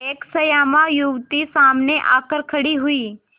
एक श्यामा युवती सामने आकर खड़ी हुई